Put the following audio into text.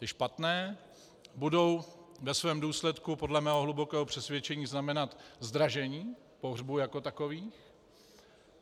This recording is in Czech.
Ty špatné budou ve svém důsledku podle mého hlubokého přesvědčení znamenat zdražení pohřbu jako takové.